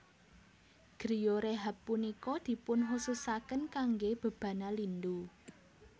Griyo rehab punika dipunkhususaken kangge bebana lindu